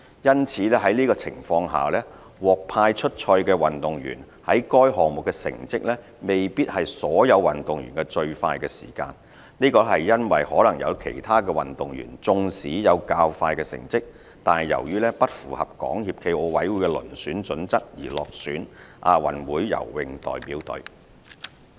因此，在這情況下，獲派出賽的運動員在該項目的成績，未必是所有運動員的最快時間。這是因為可能有其他運動員縱使有較快成績，但由於不符合港協暨奧委會的遴選準則而落選亞運會游泳代表隊。